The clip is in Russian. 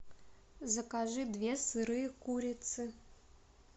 закажи две сырые курицы